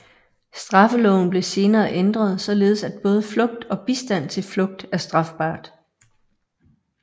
Straffeloven blev senere ændret således at både flugt og bistand til flugt er strafbart